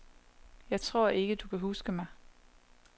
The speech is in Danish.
Jeg tror ikke, at du kan huske mig.